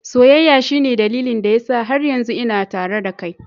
Soyayya shine dalilin da yasa har yanzu ina tare da kai.